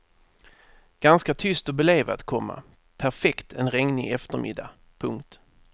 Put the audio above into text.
Ganska tyst och belevat, komma perfekt en regnig eftermiddag. punkt